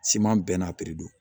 Siman bɛɛ n'a piri don